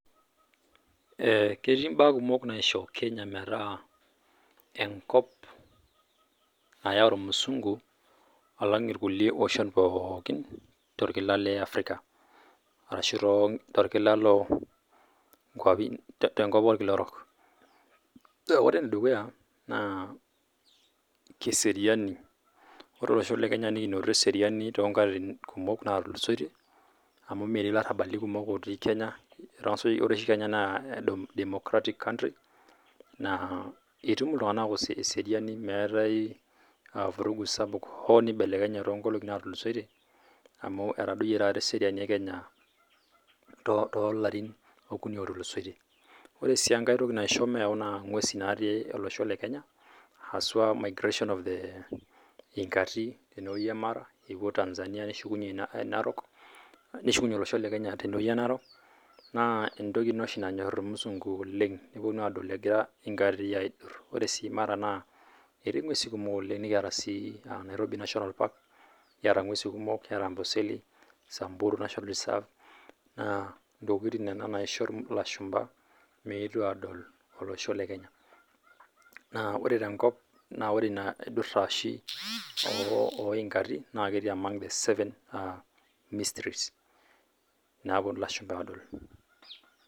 Ee ketii mbaa kumok naisho kenya metaa enkop nayau irmusungu alang irkulie oshon pookin to irkila le Africa ashu to irkila loo nkuapi te nkop orkila orok. Ore ene dukuya naa keseriani, ore olosho le Kenya nenyor eseriani toonkatitin kumok naatulusoitie amuu metii larrabali kumok ootii Kenya ore oshi Kenya naa democratic country naa etum iltung'anak esriani meetae vurugu sapuk hoo neibelekenye too nkolong'i naatulusoitie amuu etadoyie taata eseriani e Kenya too larin okuni ootulusoitie. Ore sii enkae toki naisho meyau naa ing'wesi naati olosho le Kenya haswa migration of the inkati tendewueji e Mara epuo Tanzania neshukunye narok neshukunye olosho le Kenya tene wueji e narok naa entoki oshi nanyor irmusungu oleng nepuonu aadol egira inkati aidurr ore sii Mara naa etii ng'wesi kumok oleng nikiata sii Nairobi national park kiata ng'wesi kumok kiata amboseli nikiaata samburu national reserve naa ntokitin nena naishoru ilashumba meetu aadol olosho le Kenya ,naa ore tenkop naa ore ina aidurra oshi oo inkati naa ketii among the seven histories naapuonu ilashumba aadol.